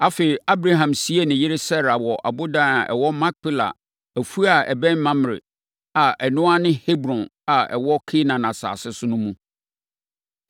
Afei, Abraham siee ne yere Sara wɔ ɔboda a ɛwɔ Makpela afuo a ɛbɛn Mamrɛ a ɛno ara ne Hebron a ɛwɔ Kanaan asase so no mu.